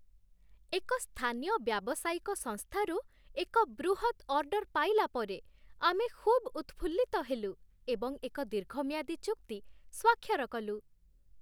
ଏକ ସ୍ଥାନୀୟ ବ୍ୟାବସାୟିକ ସଂସ୍ଥାରୁ ଏକ ବୃହତ୍ ଅର୍ଡର ପାଇଲା ପରେ ଆମେ ଖୁବ ଉତ୍‌ଫୁଲ୍ଲିତ ହେଲୁ ଏବଂ ଏକ ଦୀର୍ଘମିଆଦୀ ଚୁକ୍ତି ସ୍ୱାକ୍ଷର କଲୁ।